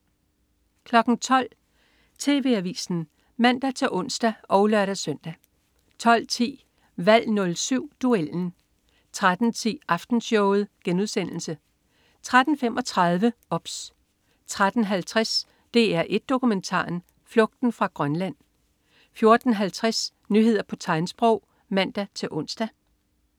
12.00 TV Avisen (man-ons og lør-søn) 12.10 Valg 07. Duellen 13.10 Aftenshowet* 13.35 OBS 13.50 DR1 Dokumentaren. Flugten fra Grønland 14.50 Nyheder på tegnsprog (man-ons)